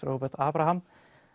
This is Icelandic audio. Róbert Abraham